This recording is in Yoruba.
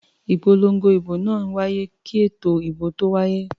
Ìpolongo ìbò máa ń wáyé kí ètò ìbò tó wáyé.